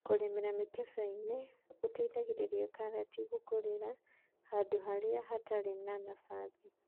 kũrĩmĩra mĩkebeinĩ gũteithagia karati gũkũrĩra handũrĩa hatarĩ na nafathi.